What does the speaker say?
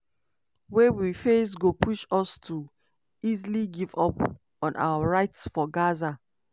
wey we face go push us to easily give up on our right for gaza."